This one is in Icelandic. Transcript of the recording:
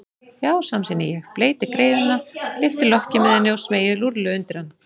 Já, samsinni ég, bleyti greiðuna, lyfti lokki með henni og smeygi rúllu undir hann.